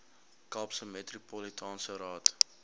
kaapse metropolitaanse raad